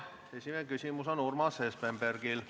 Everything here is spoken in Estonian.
Esimene küsimus on Urmas Espenbergil.